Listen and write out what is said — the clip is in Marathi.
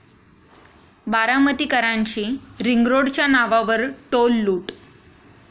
बारामतीकरांची रिंगरोडच्या नावावर टोल लूट